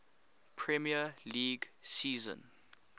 premier league season